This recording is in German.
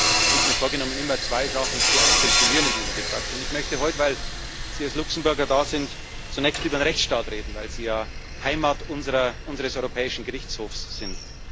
Deswegen habe ich mir vorgenommen, immer zwei Sachen zu akzentuieren in dieser Debatte. Ich möchte heute, weil Sie als Luxemburger da sind, zunächst über den Rechtsstaat reden, weil sie ja Heimat unseres Europäischen Gerichtshofs sind.